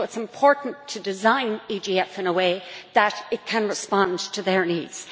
So it is important to design the EGF in such a way that it can respond to their needs.